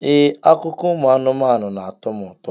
Ee, akụkọ ụmụ anụmanụ na-atọ m ụtọ.